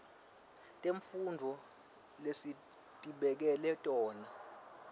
temfundvo lesitibekele tona